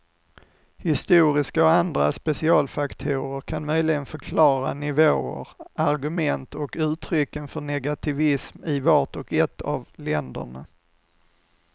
Historiska och andra specialfaktorer kan möjligen förklara nivåer, argument och uttrycken för negativism i vart och ett av länderna.